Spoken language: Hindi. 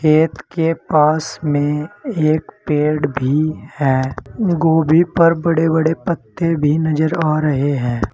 खेत के पास में एक पेड़ भी है गोभी पर बड़े बड़े पत्ते भी नजर आ रहे है।